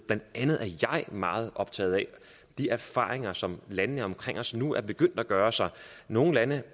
blandt andet er jeg meget optaget af de erfaringer som landene omkring os nu er begyndt at gøre sig nogle lande